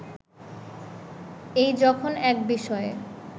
এই যখন এক বিষয়ে